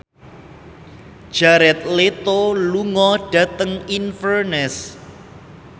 Jared Leto lunga dhateng Inverness